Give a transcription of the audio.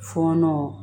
Fɔɔnɔ